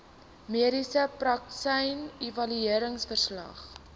mediese praktisyn evalueringsverslag